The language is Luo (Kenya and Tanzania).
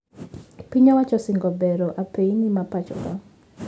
Piny owacho osingo bero apeyni mapoachoka